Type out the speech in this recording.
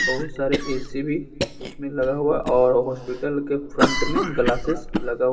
बहुत सारे ए_सी भी उसमें लगा हुआ है और हॉस्पिटल के फ्रंट में ग्लासेज लगा--